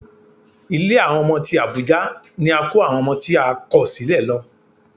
Ilé àwọn ọmọ tí Àbújá ni a kó àwọn ọmọ tí a kò sílẹ̀ lọ